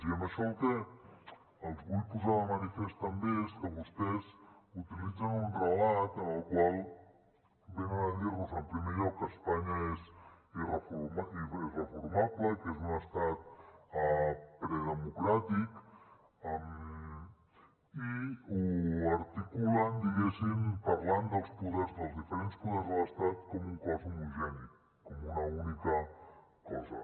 i amb això el que els vull posar de manifest també és que vostès utilitzen un relat en el qual venen a dir nos en primer lloc que espanya és irreformable que és un estat predemocràtic i ho articulen parlant dels diferents poders de l’estat com un cos homogeni com una única cosa